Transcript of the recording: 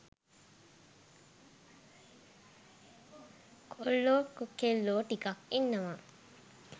කොල්ලෝ කෙල්ලෝ ටිකක් ඉන්නවා.